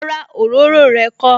Rárá, òróró rẹ kó